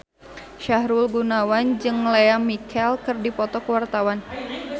Sahrul Gunawan jeung Lea Michele keur dipoto ku wartawan